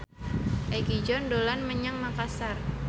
Egi John dolan menyang Makasar